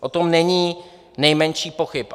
O tom není nejmenších pochyb.